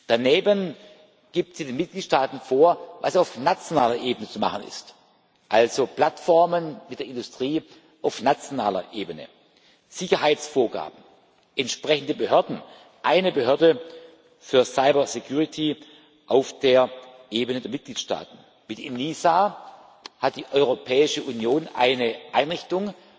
Daneben gibt sie den Mitgliedstaaten vor, was auf nationaler Ebene zu machen ist, also Plattformen mit der Industrie auf nationaler Ebene, Sicherheitsvorgaben, entsprechende Behörden eine Behörde für Cybersicherheit auf der Ebene der Mitgliedstaaten. Mit der ENISA hat die Europäische Union eine Einrichtung,